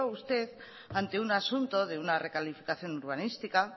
usted ante un asunto de una recalificación urbanística